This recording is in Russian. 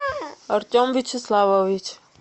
артем вячеславович